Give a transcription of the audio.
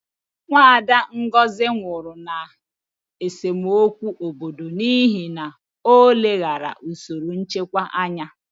Nwada Ngozi nwụrụ na esemokwu obodo n'ihi na o leghaara usoro nchekwa anya.